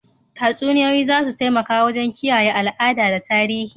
Tatsuniyoyi za su taimaka wajen kiyaye al'ada da tarihi.